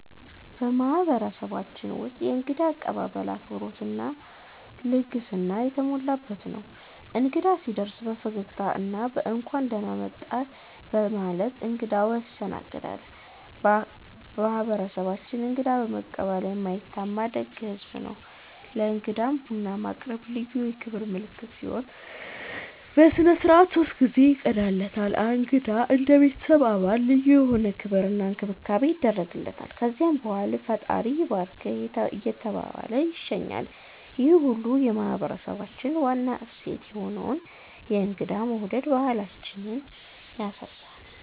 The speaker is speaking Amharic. በማህበረሰባችን ውስጥ የእንግዳ አቀባበል አክብሮት እና ልግስና የተሞላበት ነው። እንግዳ ሲደርስ በፈገግታ እና በ“እንኳን ደህና መጣህ” በማለት እንግዳው ይስተናገዳል። ማህበረሰባችን እንግዳ በመቀበል የማይታማ ደግ ህዝብ ነው። ለእንግዳም ቡና ማቅረብ ልዩ የክብር ምልክት ሲሆን፣ በሥነ ሥርዓት ሶስት ጊዜ ይቀዳለታል። እንግዳ እንደ ቤተሰብ አባል ልዩ የሆነ ክብር እና እንክብካቤ ይደረግለታል። ከዛም በኋላ “ፈጣሪ ይባርክህ” እየተባለ ይሸኛል፣ ይህ ሁሉ የማህበረሰባችንን ዋና እሴት የሆነውን የእንግዳ መውደድ ባህል ያሳያል።